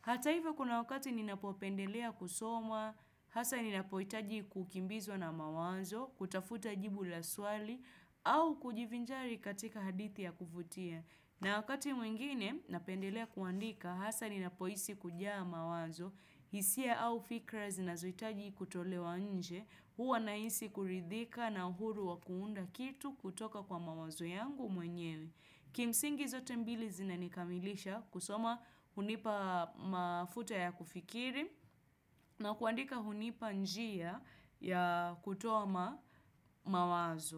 Hata hivyo kuna wakati ninapopendelea kusoma, hasa ninapohitaji kukimbizwa na mawazo, kutafuta jibu la swali, au kujivinjari katika hadithi ya kuvutia. Na wakati mwingine napendelea kuandika haswa ninapohisi kujaa mawazo, hisia au fikra zinazohitaji kutolewa nje, huwa nahisi kuridhika na uhuru wa kuunda kitu kutoka kwa mawazo yangu mwenyewe. Kimsingi zote mbili zinanikamilisha kusoma hunipa mafuta ya kufikiri na kuandika hunipa njia ya kutoa ma mawazo.